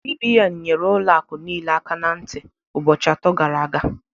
CBN nyere ụlọ akụ niile aka na ntị ụbọchị atọ gara aga